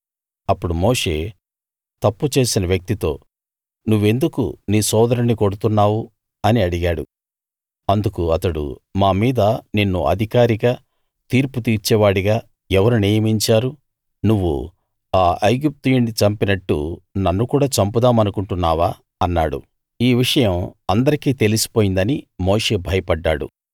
అప్పుడు మోషే తప్పు చేసిన వ్యక్తితో నువ్వెందుకు నీ సోదరుణ్ణి కొడుతున్నావు అని అడిగాడు అందుకు అతడు మా మీద నిన్ను అధికారిగా తీర్పు తీర్చేవాడిగా ఎవరు నియమించారు నువ్వు ఆ ఐగుప్తీయుణ్ణి చంపినట్టు నన్ను కూడా చంపుదామనుకుంటున్నావా అన్నాడు ఈ విషయం అందరికీ తెలిసిపోయిందని మోషే భయపడ్డాడు